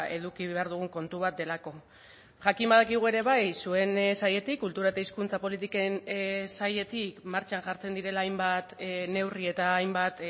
eduki behar dugun kontu bat delako jakin badakigu ere bai zuen sailetik kultura eta hizkuntza politiken sailetik martxan jartzen direla hainbat neurri eta hainbat